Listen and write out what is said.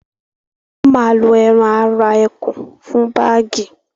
wọ́n ma lo ẹran ara ẹkùn fún bágì